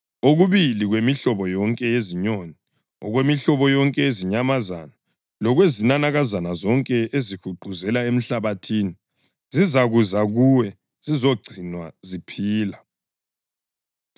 Okubili kwemihlobo yonke yezinyoni, okwemihlobo yonke yezinyamazana lokwezinanakazana zonke ezihuquzela emhlabathini zizakuza kuwe zizogcinwa ziphila.